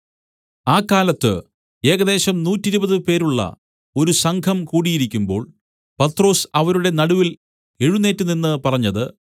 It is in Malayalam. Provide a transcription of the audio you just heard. ആ കാലത്ത് ഏകദേശം നൂറ്റിരുപത് പേരുള്ള ഒരു സംഘം കൂടിയിരിക്കുമ്പോൾ പത്രൊസ് അവരുടെ നടുവിൽ എഴുന്നേറ്റുനിന്ന് പറഞ്ഞത്